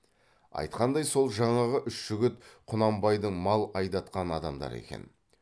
айтқандай сол жаңағы үш жігіт құнанбайдың мал айдатқан адамдары екен